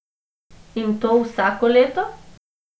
In to vsako leto?